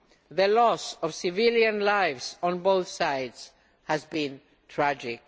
The loss of civilian lives on both sides has been tragic.